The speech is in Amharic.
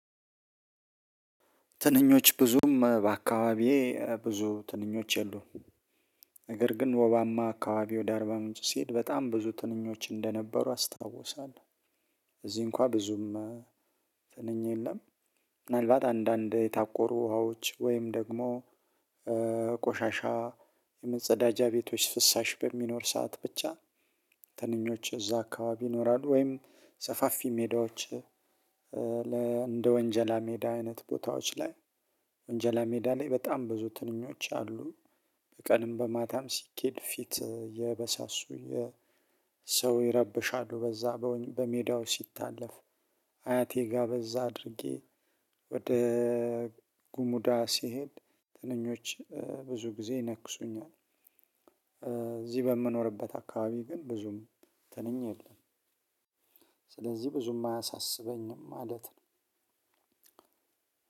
ትንኞች ብዙም በአካባቢዬ ብዙ ትንኞች የሉም ነገር ግን ወባማ አካባቢ ወደ አርባ ምንጭ ስሄድ በጣም ብዙ ትንኞች እንደነበሩ አስታውሳለሁ። እዚህ እንኳን ብዙም ትንኝ የለም። ምናልባት አንዳንድ የታቆሩ ውሃዎች ወይም ደግሞ ቆሻሻ የመጸዳጃ ቤቶች ፍሳሽ በሚኖር ሰዓት ብቻ ትንኞች እዛ አካባቢ ይኖራሉ ወይም ሰፋፊ ሜዳዎች። እንደ ወንጀላ ሜዳ አይነት ቦታዎች ላይ ወንጀላ ሜዳ ላይ በጣም ብዙ ትንኞች አሉ። በቀንም በማታም ሲኬድ ፊት እየበሳሱ የሰው ይረብሻሉ በዛ በሜዳው ሲታለፍ። አያቴጋ በዛ አድርጌ ወደ ጉሙዳ ስሄድ ትንኞች ብዙ ጊዜ ይነክሱኛል። እዚህ በምኖርበት አካባቢ ግን ብዙም ትንኝ የለም። ስለዚህ ብዙም አያሳስበኝም ማለት ነው።